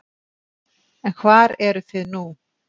En hvar eruð þið nú?